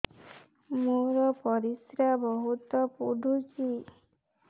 ମୋର ପରିସ୍ରା ବହୁତ ପୁଡୁଚି